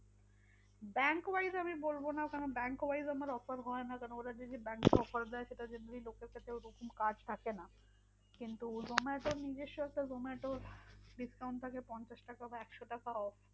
Bankwise আমি বলবো না। কারণ bankwise আমার offer হয় না কারণ ওরা যে যে bank এর offer দেয় সেটা generally লোকের কাছেও ওরকম card থাকে না। কিন্তু zomato র নিজস্য একটা zomato র discount থাকে পঞ্চাশ টাকা বা একশো টাকা off.